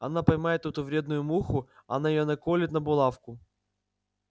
она поймает эту вредную муху она её наколет на булавку